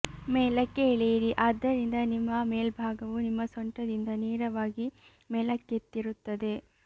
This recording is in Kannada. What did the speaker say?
ಮೇಲಕ್ಕೆ ಎಳೆಯಿರಿ ಆದ್ದರಿಂದ ನಿಮ್ಮ ಮೇಲ್ಭಾಗವು ನಿಮ್ಮ ಸೊಂಟದಿಂದ ನೇರವಾಗಿ ಮೇಲಕ್ಕೆತ್ತಿರುತ್ತದೆ